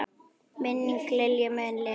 Minning Lilju mun lifa.